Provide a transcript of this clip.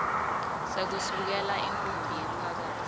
sekusukela intfombi yemphakatsi